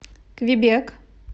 квебек